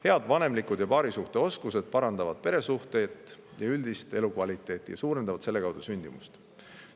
Head vanemlikud oskused ja paarisuhe parandavad peresuhteid ja üldist elukvaliteeti ning suurendavad selle kaudu sündimust.